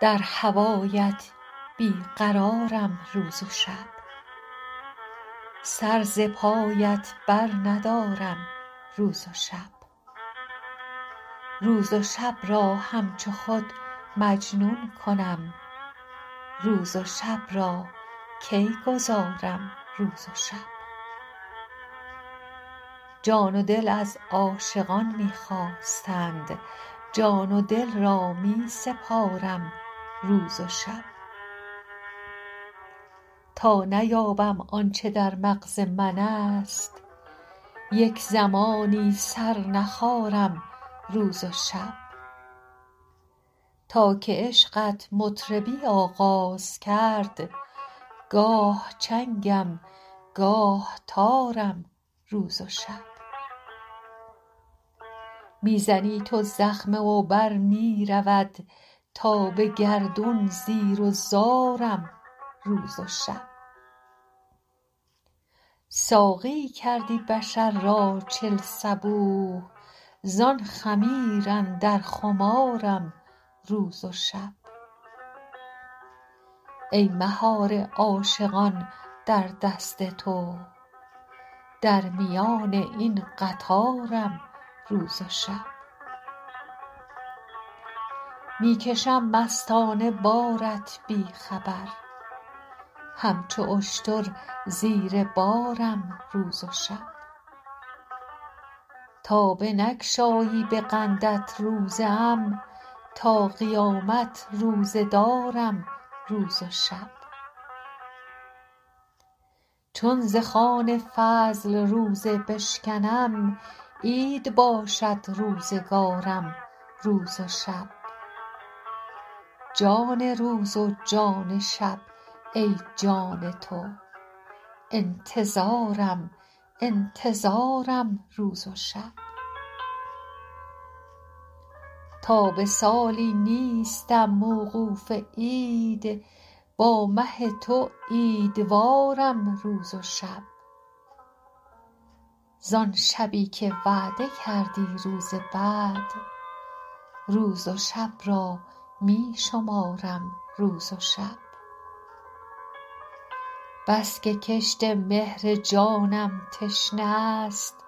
در هوایت بی قرارم روز و شب سر ز پایت برندارم روز و شب روز و شب را همچو خود مجنون کنم روز و شب را کی گذارم روز و شب جان و دل از عاشقان می خواستند جان و دل را می سپارم روز و شب تا نیابم آن چه در مغز منست یک زمانی سر نخارم روز و شب تا که عشقت مطربی آغاز کرد گاه چنگم گاه تارم روز و شب می زنی تو زخمه و بر می رود تا به گردون زیر و زارم روز و شب ساقیی کردی بشر را چل صبوح زان خمیر اندر خمارم روز و شب ای مهار عاشقان در دست تو در میان این قطارم روز و شب می کشم مستانه بارت بی خبر همچو اشتر زیر بارم روز و شب تا بنگشایی به قندت روزه ام تا قیامت روزه دارم روز و شب چون ز خوان فضل روزه بشکنم عید باشد روزگارم روز و شب جان روز و جان شب ای جان تو انتظارم انتظارم روز و شب تا به سالی نیستم موقوف عید با مه تو عیدوارم روز و شب زان شبی که وعده کردی روز وصل روز و شب را می شمارم روز و شب بس که کشت مهر جانم تشنه است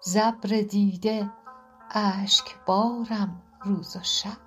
ز ابر دیده اشکبارم روز و شب